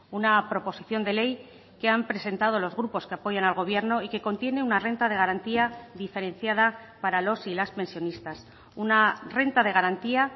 una proposición de ley que han presentado los grupos que apoyan al gobierno y que contiene una renta de garantía diferenciada para los y las pensionistas una renta de garantía